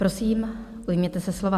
Prosím, ujměte se slova.